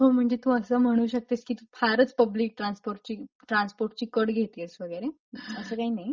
हो म्हणजे तू अस म्हणू शकते कि तू फारच पब्लिक ट्रान्सपोर्ट ची ट्रान्सपोर्ट ची कट घेतेयस वगैरे असं काही नाही.